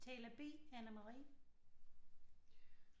Taler B Anne-Marie